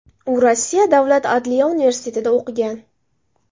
U Rossiya davlat adliya universitetida o‘qigan.